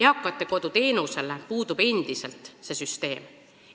Eakate kodu teenusele puudub endiselt see süsteem.